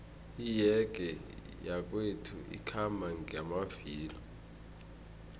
iyege yakwethu ikhamba ngamavilo